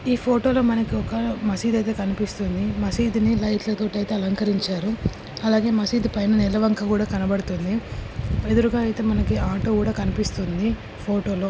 ఈ ఫొటోలో మనకి ఒక మసీద్ అయితే కనిపిస్తుంది. మసీద్ ని లైట్లతో అయితే అలంకరించారు. అలాగే మసీద్ పైన నెలవంక కూడా కనడపడుతుంది. ఎదురుగా అయితే మనకి ఆటో కూడా కనిపిస్తుంది ఫొటోలో.